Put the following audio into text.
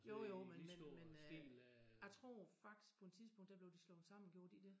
Jo jo men men øh jeg tror faktisk på et tidspunkt der blev de slået sammen gjorde de ikke det?